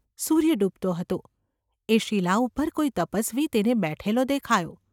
સૂર્ય ડૂબતો હતો. એ શિલા ઉપર કોઈ તપસ્વી તેને બેઠેલો દેખાયો.